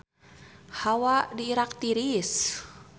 Hawa di Irak tiris